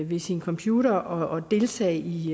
ved sin computer og deltage i